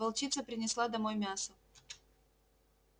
волчица принесла домой мясо